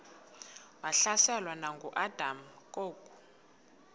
wahlaselwa nanguadam kok